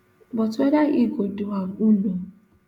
but whether e go do am who know